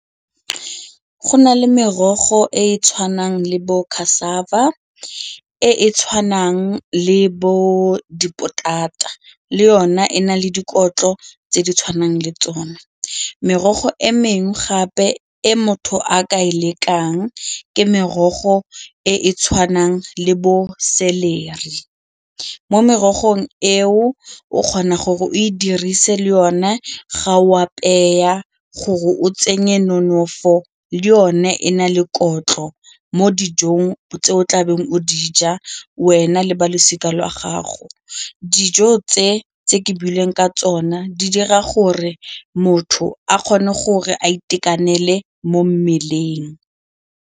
Go na le merogo e e tshwanang le bo e e tshwanang le bo dipotata le yona e na le dikotlo tse di tshwanang le tsona. Merogo e mengwe gape e motho a ka e lekang ke merogo e e tshwanang le bo celery, mo merogong eo o kgona gore o e dirise le one ga o apeya gore o tsenye nonofo le one e na le gore ntlo mo dijong tse o tlabeng o di ja wena le ba losika la gago, dijo tse ke buileng ka tsona di dira gore motho a kgone gore a itekanele mo mmeleng.